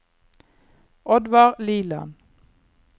Oddvar Liland